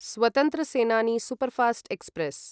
स्वतन्त्र सेनानि सूपर्फास्ट्क्स्प्रेस्